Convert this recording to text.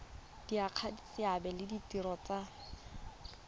diragatsa seabe le ditiro tsa